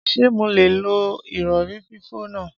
Ṣé mo lè lo ìrọ̀rí fífò náà?